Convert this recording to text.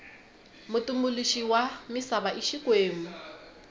mutumbuluxi wa misava i xikwembu